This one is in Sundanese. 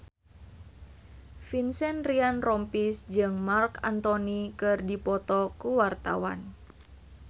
Vincent Ryan Rompies jeung Marc Anthony keur dipoto ku wartawan